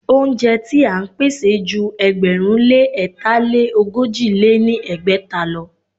Óúnjẹ ti à ń pèsè ju ẹgbẹ̀rún lé ẹ̀ta lé ogójì lé ní ẹgbẹ́ta lọ.